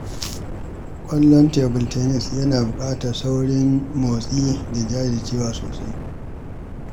Wasan tebul tanis yana buƙatar saurin motsi da jajircewa sosai.